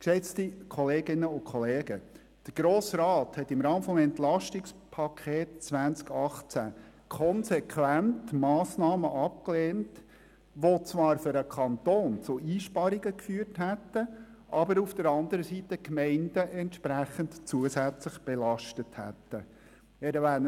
Geschätzte Kolleginnen und Kollegen, der Grosse Rat hat im Rahmen des EP 18 konsequent Massnahmen abgelehnt, welche zwar für den Kanton zu Einsparungen geführt, jedoch auf der anderen Seite die Gemeinden entsprechend zusätzlich belastet hätten.